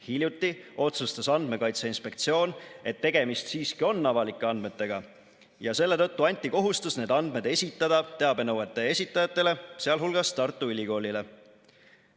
Hiljuti otsustas Andmekaitse Inspektsioon, et tegemist siiski on avalike andmetega ja selle tõttu anti kohustus need andmed esitada teabenõuete esitajatele, sh Tartu Ülikoolile.